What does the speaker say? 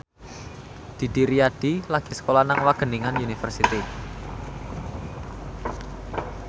Didi Riyadi lagi sekolah nang Wageningen University